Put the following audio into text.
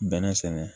Bɛnɛ sɛnɛ